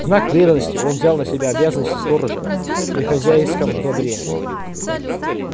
в знак преданности он взял на себя обязанности сторожа при хозяйском добре